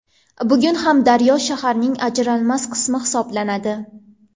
Bugun ham daryo shaharning ajralmas qismi hisoblanadi.